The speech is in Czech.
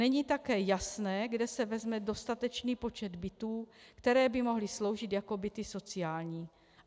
Není také jasné, kde se vezme dostatečný počet bytů, které by mohly sloužit jako byty sociální.